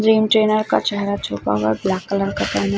का चेहरा छुपा हुआ है ब्लैक कलर का पहना--